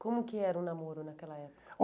Como que era o namoro naquela época?